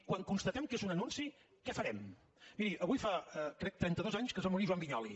quan constatem que és un anunci què farem miri avui fa crec trenta dos anys que es va morir joan vinyols